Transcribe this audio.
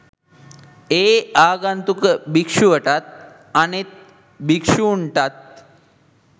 ඒ ආගන්තුක භික්ෂුවටත් අනෙත් භික්ෂූන්ටත්